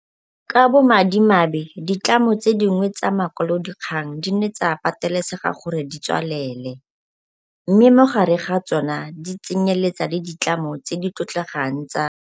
Ka bo madimabe ditlamo tse dingwe tsa makwalodikgang di ne tsa patelesega gore di tswalele, mme mo gare ga tsona di tsenyeletsa le ditlamo tse di tlotlegang tsa